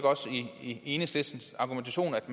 i enhedslistens argumentation at